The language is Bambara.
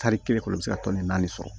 Tari kelen kɔnɔ i bɛ se ka tɔni naani sɔrɔ